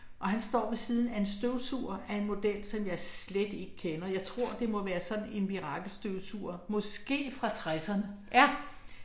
Og han står ved siden af en støvsuger af en model som jeg slet ikke kender. Jeg tror det må være sådan en mirakelstøvsuger, måske fra 60'erne